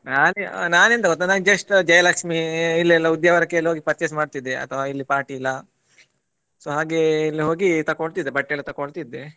ನಾ~ ನಾನೆಂತ ಗೊತ್ತ ನಾನ್ just ಜಯಲಕ್ಷ್ಮೀ ಇಲ್ಲೆಲ್ಲಾ Udyavara ಕೆ ಹೋಗಿ purchase ಮಾಡ್ತಿದ್ದೆ ಅಥವಾ ಇಲ್ಲಿ ಪಾಟೀಲ so ಹಾಗೆ ಇಲ್ಲಿ ಹೋಗಿ ತಕ್ಕೊಳ್ತಿದ್ದೆ ಬಟ್ಟೆ ಎಲ್ಲ ತಕ್ಕೊಳ್ತಿದ್ದೆ.